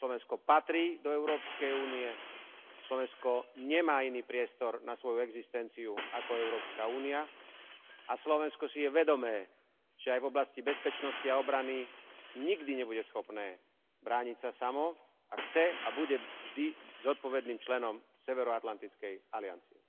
Slovensko patrí do Európskej únie, Slovensko nemá iný priestor na svoju existenciu ako Európska únia a Slovensko si je vedomé, že aj v oblasti bezpečnosti a obrany nikdy nebude schopné brániť sa samo a chce a bude vždy zodpovedným členom Severoatlantickej aliancie.